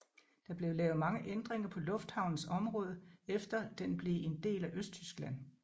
Der blev lavet mange ændringer på lufthavnens område efter den blev en del af Østtyskland